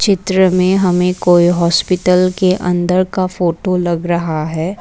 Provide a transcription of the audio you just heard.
चित्र में हमें कोई हॉस्पिटल के अन्दर का फोटो लग रहा है।